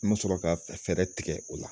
N mi sɔrɔ ka fɛɛrɛ tigɛ o la.